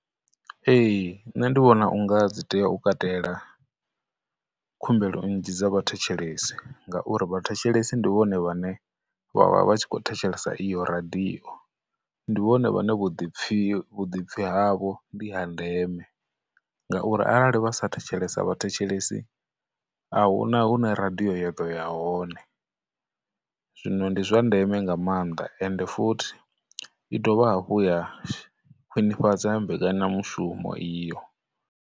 Ee, nṋe ndi vhona unga dzi tea u katela khumbelo nnzhi dza vhathetshelesi ngauri vhathetshelesi ndi vhone vhane vha vha tshi khou thetshelesa iyo radio, ndi vhone vhane vhuḓipfi, vhuḓipfi havho ndi ha ndeme ngauri arali vha sa thetshelesa vhathetshelesi, ahuna hune radio ya ḓo ya hone, zwino ndi zwa ndeme nga maanḓa, ende futhi i dovha hafhu ya khwinifhadza mbekanyamushumo iyo.